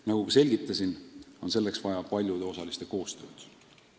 Nagu ma märkisin, on selleks vaja paljude osaliste koostööd.